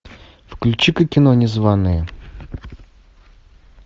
включи ка кино незваные